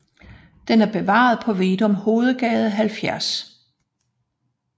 Den er bevaret på Veddum Hovedgade 70